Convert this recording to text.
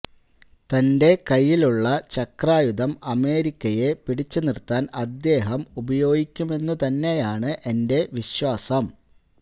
തന്റെ കയ്യിലുള്ള ചക്രായുധം അമേരിക്കയെ പിടിച്ചു നിർത്താൻ അദ്ദേഹം ഉപയോഗിക്കുമെന്നുതന്നെയാണ് എന്റെ വിശ്വാസം